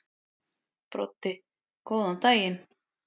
Broddi: Góðan daginn.